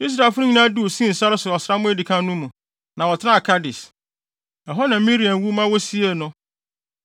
Israelfo no nyinaa duu Sin sare so ɔsram a edi kan no mu, na wɔtenaa Kades. Ɛhɔ na Miriam wu maa wosiee no.